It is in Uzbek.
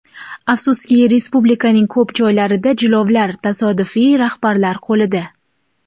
Afsuski, respublikaning ko‘p joylarida jilovlar tasodifiy rahbarlar qo‘lida.